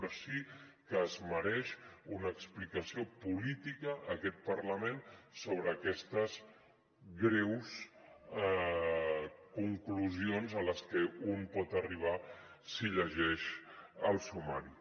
però sí que es mereix una explicació política aquest parlament sobre aquestes greus conclusions a les que un pot arribar si llegeix el sumari